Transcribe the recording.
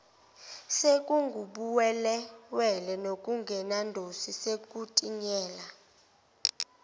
sekungubuwelewele nokungenadosi sekutinyela